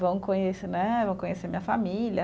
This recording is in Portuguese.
Vão conhecer né, vão conhecer minha família.